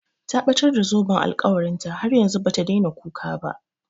Ta ɓatar da zoben alkawarin ta, har yanzu bata daina kuka ba